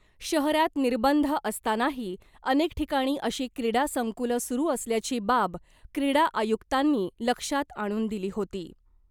शहरात निर्बंध असतानाही अनेक ठिकाणी अशी क्रीडा संकुलं सुरू असल्याची बाब क्रीडा आयुक्तांनी लक्षात आणून दिली होती .